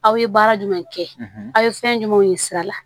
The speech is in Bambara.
Aw ye baara jumɛn kɛ aw ye fɛn jumɛnw ye sira la